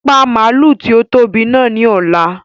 Pa màálù tí ó tóbi náà ni ọ̀la!